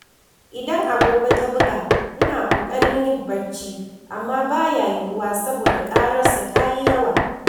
Idan agogo ta buga, ina ƙoƙarin yin barci amma ba ya yuwuwa saboda ƙararsa ta yi yawa.